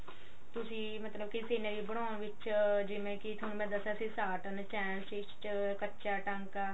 ਤੁਸੀਂ ਮਤਲਬ ਕੀ scenery ਬਣਾਉਣ ਵਿੱਚ ਜਿਵੇਂ ਕੀ ਮੈਂ ਥੋਨੂੰ ਦੱਸਿਆ ਸੀ tartan ਚੈਨ stich ਕੱਚਾ ਟਾਂਕਾ